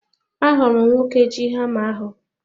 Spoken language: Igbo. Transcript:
Ahụrụ m nwoke ji hama ahu